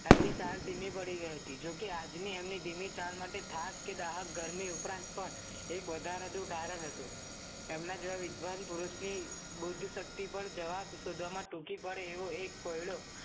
તેમની ચાલ ધીમી પડી ગઈ હતી જોકે આજની એમની ધીમી ચાલ માટે થાક કે દાઢ કે ગરમી ઉપરાંત પણ એક વધારાનું કારણ હતું તેમના જેવા વિદ્વાન પુરુષની બૌદ્ધ શક્તિ પણ જવાબ શોધવામાં ટૂંકી પડે એવો એક કોયડો